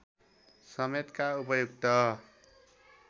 समेतका उपयुक्त